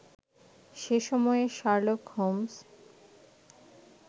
সে সময়ে Sherlock Holmes